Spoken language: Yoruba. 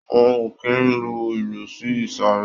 Wọn ò kì í lu ìlù sí ìsàré.